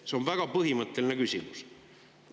See on väga põhimõtteline küsimus.